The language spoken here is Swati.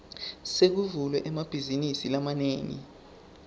sekuvulwe emabhazinisi lamanengi